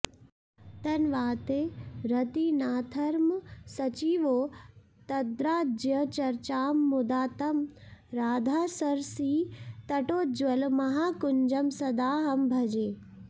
तन्वाते रतिनाथनर्मसचिवौ तद्राज्यचर्चां मुदा तं राधासरसीतटोज्ज्वलमहाकुञ्जं सदाहं भजे